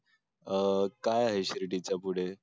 काय आहे शिर्डी चा पुढे